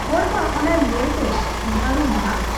ᱦᱚᱲᱢᱟ ᱚᱱᱟ ᱧᱮᱞ ᱛᱮ ᱵᱷᱟᱺᱲᱩᱢᱵᱷᱟᱜ ᱾